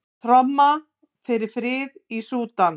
Tromma fyrir frið í Súdan